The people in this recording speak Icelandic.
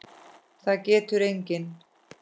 Það getur enginn!